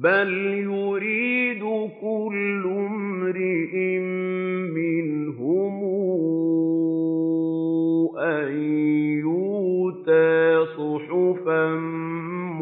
بَلْ يُرِيدُ كُلُّ امْرِئٍ مِّنْهُمْ أَن يُؤْتَىٰ صُحُفًا